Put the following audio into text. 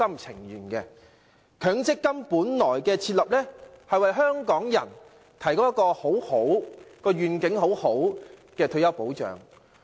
設立強積金的原意是為香港人提供一個有良好願景的退休保障。